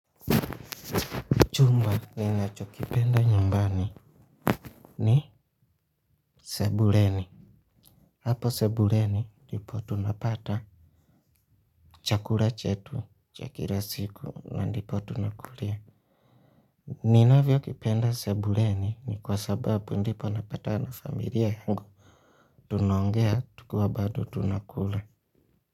Chumba ninacho kipenda nyumbani ni sebuleni. Hapo sebuleni ndipo tunapata chakula chetu chakira siku na ndipo tunakulia. Ninavyo kipenda sebuleni ni kwa sababu ndipo napatana na familia yangu. Tunaongea tukiwa bado tunakula.